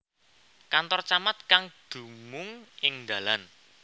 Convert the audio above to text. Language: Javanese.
Kantor Camat kang dumung ing Dalan